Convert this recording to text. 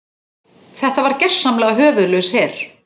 Þetta var gersamlega höfuðlaus her.